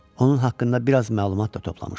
Onun haqqında biraz məlumat da toplamışdı.